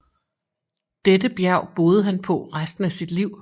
Dette bjerg boede han på resten af sit liv